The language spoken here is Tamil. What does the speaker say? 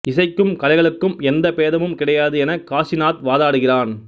இசைக்கும் கலைகளுக்கும் எந்த பேதமும் கிடையாது என காசிநாத் வாதாடுகிறான்